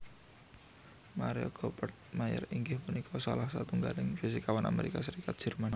Maria Goeppert Mayer inggih punika salah satunggaling fisikawan Amerika Serikat Jerman